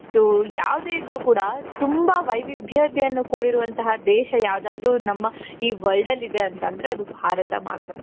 ಯಾವುದೇ ಇದ್ದರೂ ಕೂಡ ತುಂಬಾ ವೈವಿಧ್ಯತೆಯಿಂದ ಕೂಡಿರುವಂತ ದೇಶ ಯಾವುದಾದರೂ ನಮ್ಮ ಈ world ಅಲ್ಲಿದೆ ಅಂತಂದ್ರೆ ಅದು ಭಾರತ ಮಾತ್ರ.